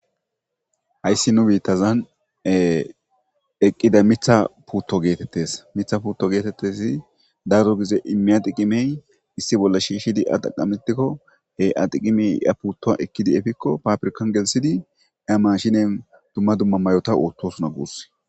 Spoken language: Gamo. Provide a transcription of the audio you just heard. hayssi nu biittazan eqqida mitha putto geetettes mitha putto geetettezi dardo gize immi adiqimey issi bolla shiishshidi adaqamitikko he adiqimey ya putto ekkidi efikko papirkan gelsidi a mashinen dumma dumma mayota oottosuna guus